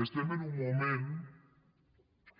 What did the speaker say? estem en un moment